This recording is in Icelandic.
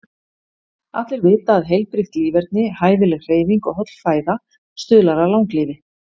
Allir vita að heilbrigt líferni, hæfileg hreyfing og holl fæða stuðlar að langlífi.